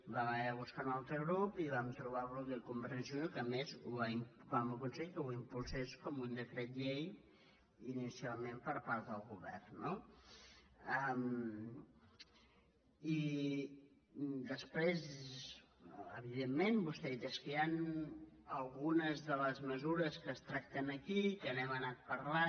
vam haver de buscar un altre grup i vam trobar el grup de convergència i unió que a més vam aconseguir que ho impulsés com un decret llei inicialment per part del govern no i després evidentment vostè ha dit és que hi han algunes de les mesures que es tracten aquí que n’hem anat parlant